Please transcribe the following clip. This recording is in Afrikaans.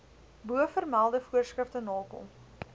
bovermelde voorskrifte nakom